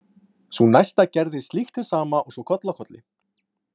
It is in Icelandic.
Sú næsta gerði slíkt hið sama og svo koll af kolli.